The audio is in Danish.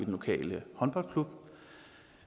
lokale håndboldklub og